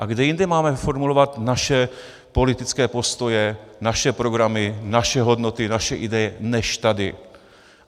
A kde jinde máme formulovat naše politické postoje, naše programy, naše hodnoty, naše ideje než tady.